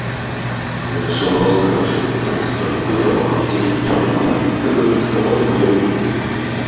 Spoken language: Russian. блядь зашёл в роз короче тут такой за такой запах аптеки блин ха-ха как-будто к стоматологу блядь